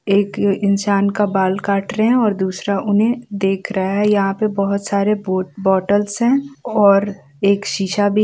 एक इंसान का बाल काट रहे है और दूसरा उन्हें देख रहा है यहाँ पे बहुत सारे बोट-बॉटल्स है और एक शीशा भी --